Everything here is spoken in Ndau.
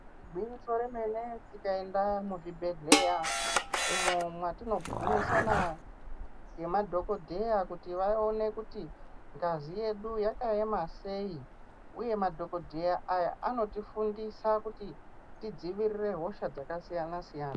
Gwinyiso remene tikaenda muzvibhedhleya umwo mwatinogumisana nemadhokodheya kuti vaone kuti ngazi yedu yakaema sei uye madhokodheya aya anotifundisa kuti tidzivirire hosha dzakasiyana siyana.